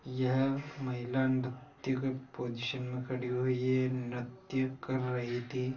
यह महिला निट्रया के पोजीशन में खड़ी हुई है नृत्यु कर रही थी।